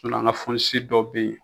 sinɔn an ka fonisi dɔw ne yen